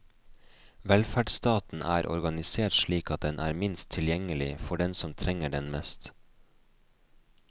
Velferdsstaten er organisert slik at den er minst tilgjengelig for den som trenger den mest.